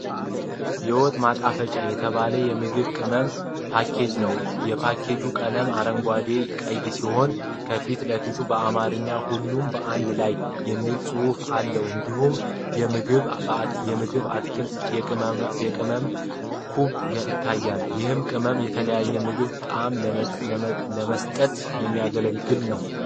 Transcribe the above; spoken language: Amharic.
የወጥ ማጣፈጫ የተባለ የምግብ ቅመም ፓኬጅ ነው። የፓኬጁ ቀለም አረንጓዴና ቀይ ሲሆን፣ ከፊት ለፊቱ በአማርኛ "ሁሉም በአንድ ላይ" የሚል ጽሑፍ አለ። እንዲሁም የምግብ አትክልቶችና የቅመም ኩብ ይታያሉ። ይህም ቅመም ለተለያዩ ምግቦች ጣዕም ለመስጠት የሚያገለግል ነው።